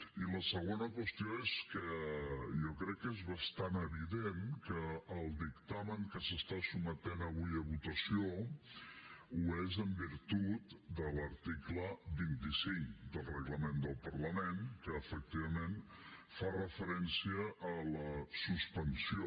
i la segona qüestió és que jo crec que és bastant evident que el dictamen que s’està sotmetent avui a votació ho és en virtut de l’article vint cinc del reglament del parlament que efectivament fa referència a la suspensió